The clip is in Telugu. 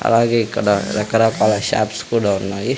అలాగే ఇక్కడ రకరాకాల షాప్స్ కూడా ఉన్నాయి.